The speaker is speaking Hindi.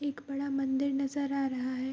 एक बड़ा मंदिर नजर आ रहा है।